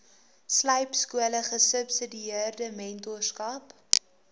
slypskole gesubsidieerde mentorskap